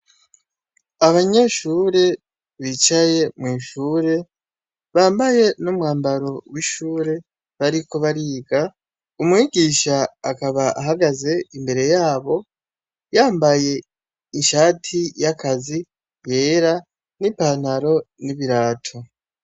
Abanyeshure bicaye mw'ishure , bambaye n'umwambaro w'ishure, bariko bariga, umwigisha akaba ahagaze imbere yabo yambaye ishati yakazi yera, nipantaro n'ibirato.